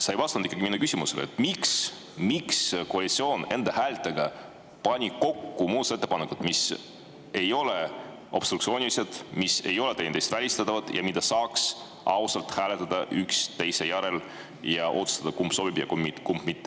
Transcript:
Sa ei vastanud ikkagi minu küsimusele, miks koalitsioon pani enda häältega kokku muudatusettepanekud, mis ei ole obstruktsioonilised, mis ei ole teineteist välistavad ja mida saaks ausalt hääletada üksteise järel ja otsustada, kumb sobib, kumb mitte.